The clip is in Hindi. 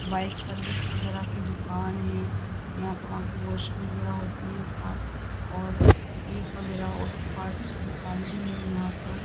बाइक सर्विस वगैरा की दुकान है यहां पे वहां की वॉश वगैरा होती है साथ और ठीक वगैरा ऑटो पार्ट्स की दुकान भी है यहां पर।